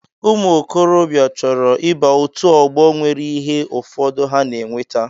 Ụmụ okorobịa chọrọ ịba otú ọgbọ nwere ihe ụfọdụ ha na-eweta